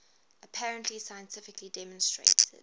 apparently scientifically demonstrated